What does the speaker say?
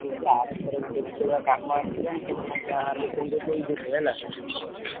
ଯଦି ଆରଥରକ ଗୋଟେବି ସେଇ ଭଳିଆ କାମ ଆସିଲା ମୁଁ ତମକୁ ଯାହାହେଲେ ବି ତମକୁ ତ ଦେଇଥିଲି ହେଲା